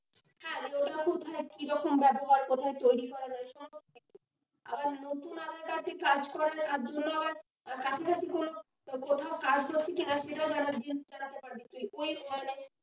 হ্যাঁ ওটা কোথায় যে কিরকম ব্যবহার কোথায় তৈরি হয় না এসব দেখতে পাবি, আবার নতুন aadhaar card দিয়ে কাজ করালে তার জন্য আবার কাছাকাছি কোন কোথাও কাজ করছে কিনা সেটাও জানাতে পারবি।